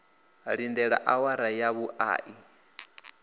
lindele awara ya vhuṋa i